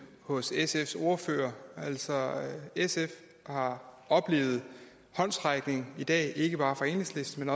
hos sfs ordfører altså sf har oplevet en håndsrækning i dag ikke bare fra enhedslisten